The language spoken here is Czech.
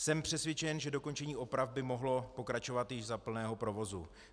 Jsem přesvědčen, že dokončení oprav by mohlo pokračovat již za plného provozu.